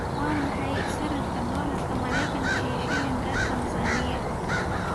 Waa maxay sarifka doolarka Maraykanka iyo shilinka Tansaaniya?